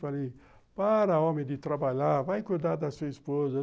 Falei, para homem de trabalhar, vai cuidar da sua esposa.